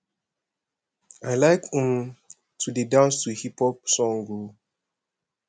i like um to dey dance to hip hop song o